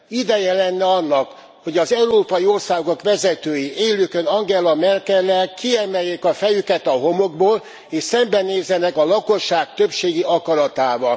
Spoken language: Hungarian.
Ideje lenne annak, hogy az európai országok vezetői, élükön Angela Merkellel, kiemeljék a fejüket a homokból, és szembenézzenek a lakosság többségi akaratával.